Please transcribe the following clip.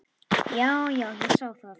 Já, já, ég sá það.